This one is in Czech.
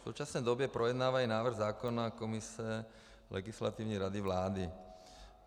V současné době projednávají návrh zákona komise Legislativní rady vlády.